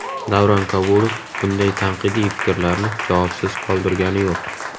Davron Kabulov bunday tanqidiy fikrlarni javobsiz qoldirgani yo‘q.